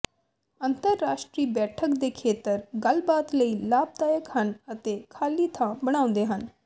ਅੰਤਰ ਰਾਸ਼ਟਰੀ ਬੈਠਕ ਦੇ ਖੇਤਰ ਗੱਲਬਾਤ ਲਈ ਲਾਭਦਾਇਕ ਹਨ ਅਤੇ ਖਾਲੀ ਥਾਂ ਬਣਾਉਂਦੇ ਹਨ